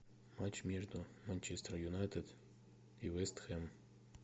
матч между манчестер юнайтед и вест хэм